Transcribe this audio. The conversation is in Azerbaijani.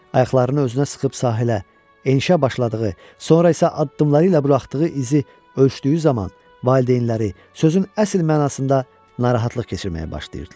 Ayaqlarını özünə sıxıb sahilə enişə başladığı, sonra isə addımları ilə buraxdığı izi ölçdüyü zaman valideynləri sözün əsl mənasında narahatlıq keçirməyə başlayırdılar.